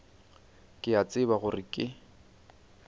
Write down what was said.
ke a tseba gore ke